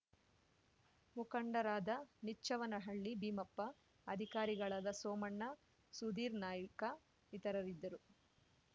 ಮುಖಂಡರಾದ ನಿಚ್ಚವನಹಳ್ಳಿ ಭೀಮಪ್ಪ ಅಧಿಕಾರಿಗಳಾದ ಸೋಮಣ್ಣ ಸುಧೀರ್‌ ನಾಯ್ಕ ಇತರರಿದ್ದರು